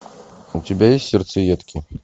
у тебя есть сердцеедки